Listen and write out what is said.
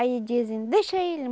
Aí dizem, deixa ele.